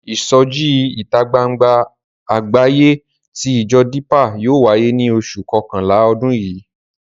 Ìsọjí ìta gbangba àgbáyé tí ìjọ Dípà yóò wáyé ní oṣù kọkànlá ọdún yìí.